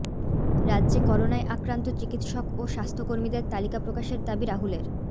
রাজ্যে করোনায় আক্রান্ত চিকিৎসক ও স্বাস্থ্যকর্মীদের তালিকা প্রকাশের দাবী রাহুলের